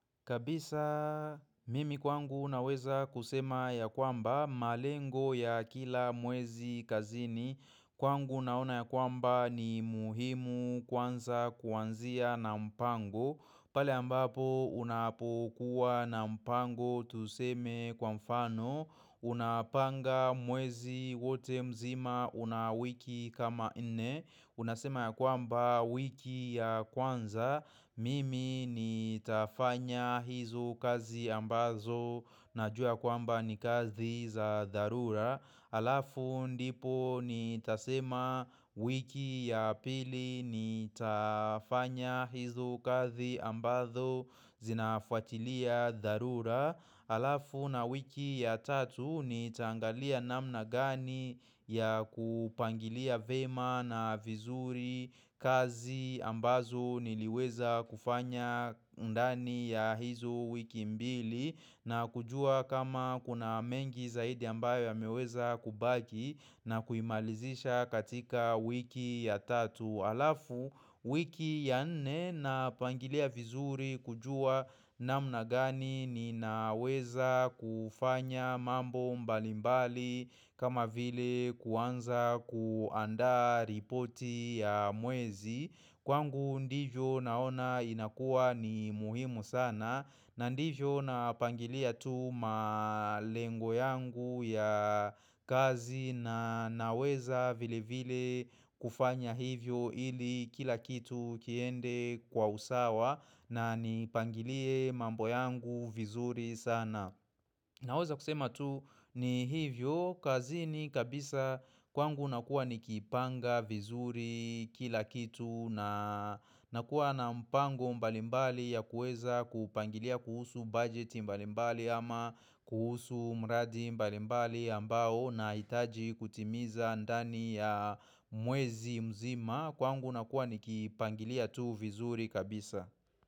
Kabisa mimi kwangu unaweza kusema ya kwamba, malengo ya kila mwezi kazini, kwangu naona ya kwamba ni muhimu kwanza kuanzia na mpango, pale ambapo unapokuwa na mpango tuseme kwa mfano, unapanga mwezi wote mzima unawiki kama nne, Unasema ya kwamba wiki ya kwanza mimi nitafanya hizo kazi ambazo na jua kwamba ni kazi za dharura Alafu ndipo nitasema wiki ya pili ni tafanya hizo kazi ambazo zinafuatilia dharura Alafu na wiki ya tatu nitaangalia namna gani ya kupangilia vema na vizuri kazi ambazo niliweza kufanya ndani ya hizo wiki mbili na kujua kama kuna mengi zaidi ambayo yameweza kubaki na kuimalizisha katika wiki ya tatu. Alafu wiki ya nne napangilia vizuri kujua namna gani ni naweza kufanya mambo mbalimbali kama vile kuanza kuandaa ripoti ya mwezi kwangu ndivyo naona inakuwa ni muhimu sana na ndivyo napangilia tu malengo yangu ya kazi na naweza vile vile kufanya hivo ili kila kitu kiende kwa usawa na nipangilie mambo yangu vizuri sana. Naweza kusema tu ni hivyo, kazini kabisa kwangu nakuwa nikipanga vizuri kila kitu na nakuwa na mpango mbalimbali ya kueza kupangilia kuhusu bujeti mbalimbali ama kuhusu mradi mbalimbali ambao unahitaji kutimiza ndani ya mwezi mzima Kwangu nakuwa ni kipangilia tu vizuri kabisa.